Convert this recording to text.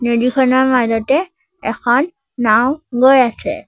নদীখনৰ মাজতে এখন নাওঁ গৈ আছে।